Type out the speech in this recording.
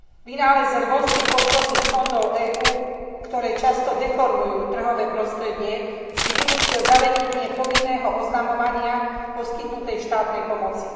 Vynález rôznych podporných fondov EÚ, ktoré často deformujú trhové prostredie, si vynútil zavedenie povinného oznamovania poskytnutej štátnej pomoci.